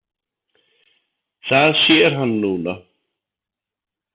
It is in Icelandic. Það sér hann núna.